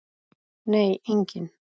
Nei, enginn